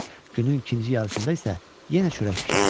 Günün ikinci yarısında isə yenə çörək bişirirdi.